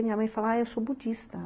E minha mãe fala, ah, eu sou budista.